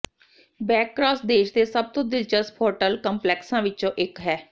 backcross ਦੇਸ਼ ਦੇ ਸਭ ਤੋਂ ਦਿਲਚਸਪ ਹੋਟਲ ਕੰਪਲੈਕਸਾਂ ਵਿੱਚੋਂ ਇੱਕ ਹੈ